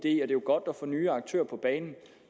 er jo godt at få nye aktører på banen